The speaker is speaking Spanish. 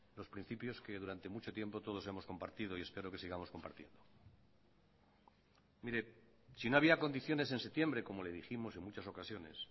los principios que durante mucho tiempo todos hemos compartido y espero que sigamos compartiendo mire si no había condiciones en septiembre como le dijimos en muchas ocasiones